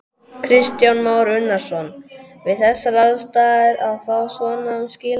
Kristján Már Unnarsson: Við þessar aðstæður að fá svona skilaboð?